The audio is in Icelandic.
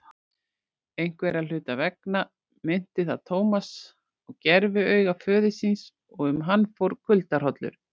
Einhverra hluta vegna minnti það Thomas á gerviauga föður síns og um hann fór kuldahrollur.